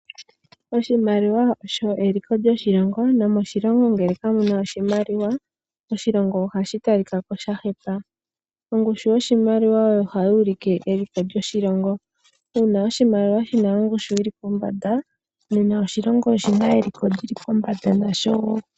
Oshimaliwa osho eliko lyoshilongo. Ngele moshilongo kamuna oshimaliwa, ohashi talikako shahepa. Ongushu yoshimaliwa ohayi ulike eliko lyoshilongo . Uuna ongushu yoshimaliwa yili pombanda moshilongo shontumba nena ohashi talikako oshiyamba.